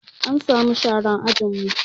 An sa mu sharan ajin mu